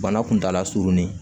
Bana kuntala surunin